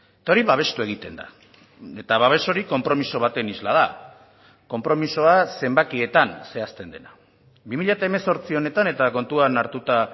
eta hori babestu egiten da eta babes hori konpromiso baten isla da konpromisoa zenbakietan zehazten dena bi mila hemezortzi honetan eta kontuan hartuta